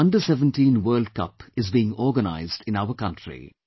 FIFA under 17 world cup is being organized in our country